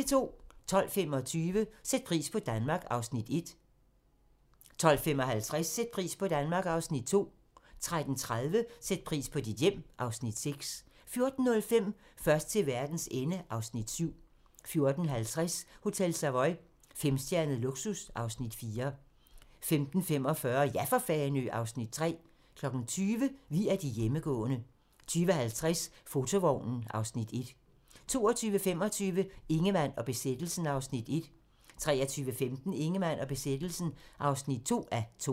12:25: Sæt pris på Danmark (Afs. 1) 12:55: Sæt pris på Danmark (Afs. 2) 13:30: Sæt pris på dit hjem (Afs. 6) 14:05: Først til verdens ende (Afs. 7) 14:50: Hotel Savoy - femstjernet luksus (Afs. 4) 15:45: Ja for Fanø! (Afs. 3) 20:00: Vi er de hjemmegående 20:50: Fotovognen (Afs. 1) 22:25: Ingemann og besættelsen (1:2) 23:15: Ingemann og besættelsen (2:2)